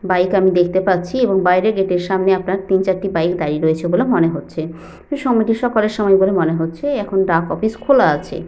Bike আমি দেখতে পাচ্ছি এবং বাইরে গেট এর সামনে আপনার তিন চারটি বাইক দাঁড়িয়ে রয়েছে বলে মনে হচ্ছে সময়টি সকালের সময় বলে মনে হচ্ছে এখন ডাক অফিস খোলা আছে।